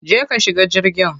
Je ka shiga jirgin.